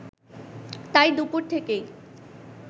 তাই দুপুর থেকেই